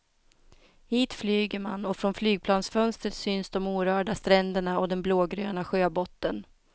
Hit flyger man, och från flygplansfönstret syns de orörda stränderna och den blågröna sjöbotten.